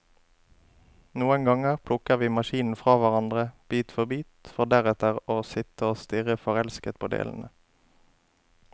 Noen ganger plukker vi maskinen fra hverandre, bit for bit, for deretter å sitte og stirre forelsket på delene.